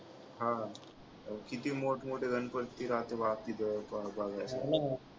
हा किती मोठं मोठे गणपतीचे